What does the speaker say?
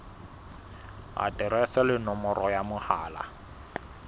aterese le nomoro ya mohala